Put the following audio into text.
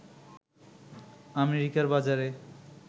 আমেরিকার বাজারে